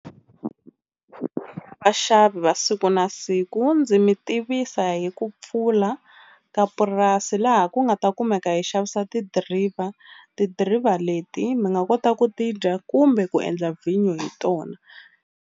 Vaxavi va siku na siku ndzi mi tivisa hi ku pfula ka purasi laha ku nga ta kumeka hi xavisa tidiriva tidiriva leti mi nga kota ku ti dya kumbe ku endla vhinyo hi tona.